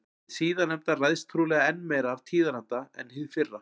Hið síðarnefnda ræðst trúlega enn meira af tíðaranda en hið fyrra.